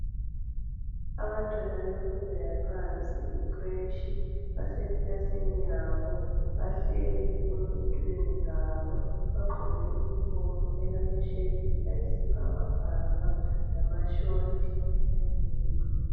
Abantwana bemfundo yaphansi icreshi, basekilasini yabo bahleli ezitulweni zabo bagqoke i uniform elama shirt ayisibhakabhaka lama short ayi navy blue.